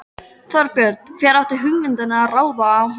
Þorbjörn: Hver átti hugmyndina um að ráða hann?